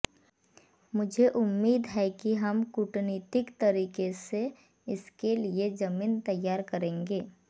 मुझे उम्मीद है कि हम कूटनीतिक तरीके से इसके लिए जमीन तैयार करेंगे